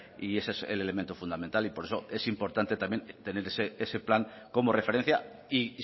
y ese es el elemento fundamental y por eso es importante también tener ese plan como referencia y